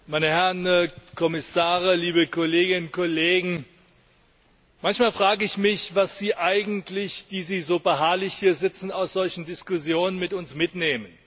Herr Präsident, meine Herren Kommissare, liebe Kolleginnen und Kollegen! Manchmal frage ich mich, was Sie eigentlich, die Sie so beharrlich hier sitzen, aus solchen Diskussionen mit uns mitnehmen.